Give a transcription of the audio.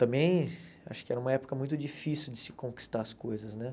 Também, acho que era uma época muito difícil de se conquistar as coisas, né?